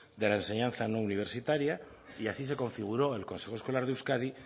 de la enseñanza no universitaria y así se configuró en el consejo escolar de euskadi